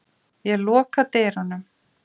Ég loka dyrunum.